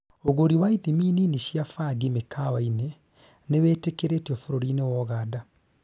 ũgũri wa ithimi nini cĩa bangi 'mĩkawaini' nĩwĩtĩkĩrĩtio bũrũri-inĩ wa Uganda